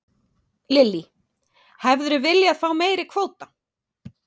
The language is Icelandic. Lillý: Hefðirðu viljað fá meiri kvóta?